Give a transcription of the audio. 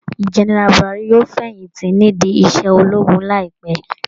General Buhari yóò fẹ̀yìn tí nídìí iṣẹ́ ológun láìpẹ́